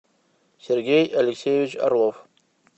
сергей алексеевич орлов